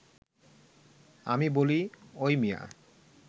আমি বলি, ওই মিয়া